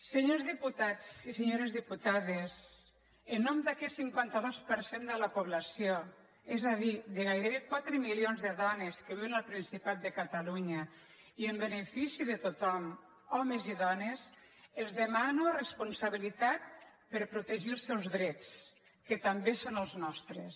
senyors diputats i senyores diputades en nom d’a·quest cinquanta dos per cent de la població és a dir de gairebé quatre milions de dones que viuen al principat de catalunya i en benefici de tothom homes i dones els demano res·ponsabilitat per protegir els seus drets que també són els nostres